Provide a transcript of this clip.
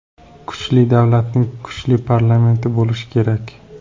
Kuchli davlatning kuchli parlamenti bo‘lishi kerak.